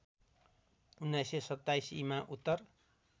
१९२७ ईमा उत्तर